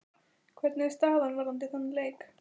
Hvernig er staðan varðandi þann leik?